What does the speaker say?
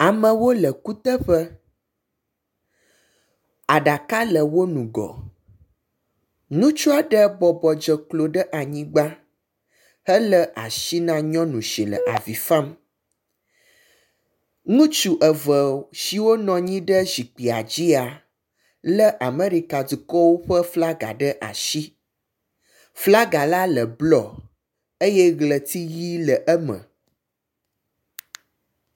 Amewo le kuteƒe, aɖaka le wo nugɔ, ŋutsu aɖe bɔbɔ dze klo ɖe anyigba hele asi na nyɔnu si le avi fam. Ŋutsu eve siwo nɔnyi ɖe zikpia dzia, le Amerika dukɔwo ƒe flaga ɖe asi. Flaga la le bluɔ eye ɣleti ɣi le eme.